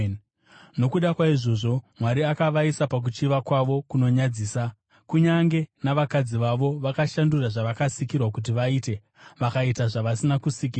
Nokuda kwaizvozvo, Mwari akavaisa pakuchiva kwavo kunonyadzisa. Kunyange navakadzi vavo vakashandura zvavakasikirwa kuti vaite, vakaita zvavasina kusikirwa.